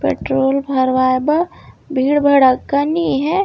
Petrol भरवाये बा भीड़ भड़क्का नई हे।